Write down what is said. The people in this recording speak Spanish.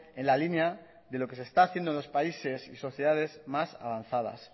en la línea de lo que se está haciendo en los países y sociedades más avanzadas